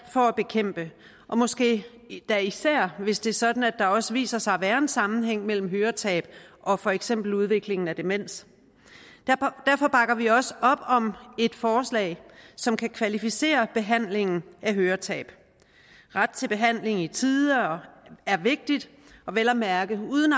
for at bekæmpe måske da især hvis det er sådan at der også viser sig at være en sammenhæng mellem høretab og for eksempel udvikling af demens derfor bakker vi også op om et forslag som kan kvalificere behandlingen af høretab ret til behandling i tide er vigtigt vel at mærke uden